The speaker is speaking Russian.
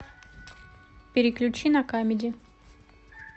переключи на камеди